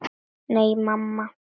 Nei, mamma.